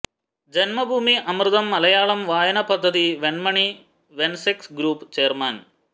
ജന്മഭൂമി അമൃതം മലയാളം വായന പദ്ധതി വെണ്മണി വെന്സെക് ഗ്രൂപ്പ് ചെയര്മാന്